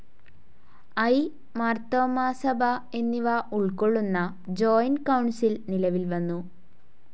I., Marthoma സഭ എന്നിവ ഉൾക്കൊള്ളുന്ന ജോയിന്റ്‌ കൌൺസിൽ നിലവിൽ വന്നു.